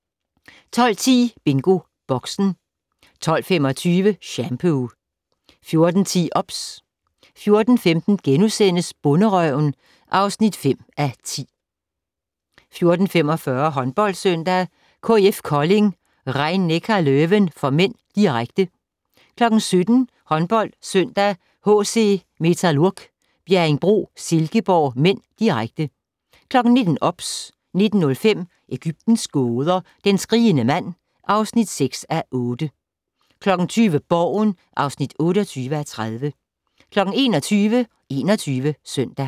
12:10: BingoBoxen 12:25: Shampoo 14:10: OBS 14:15: Bonderøven (5:10)* 14:45: HåndboldSøndag: KIF Kolding - Rhein-Neckar Löwen (m), direkte 17:00: HåndboldSøndag: HC Metalurg - Bjerringbro-Silkeborg (m), direkte 19:00: OBS 19:05: Egyptens gåder - den skrigende mand (6:8) 20:00: Borgen (28:30) 21:00: 21 Søndag